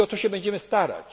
I o to się będziemy starać.